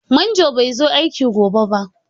Manjon bai zai zo aiki gobe ba.